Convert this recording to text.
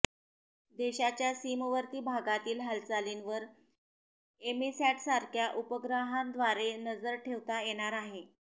देशाच्या सीमवर्ती भागातील हालचालींवर एमीसॅटसारख्या उपग्रहाद्वारे नजर ठेवता येणार आहे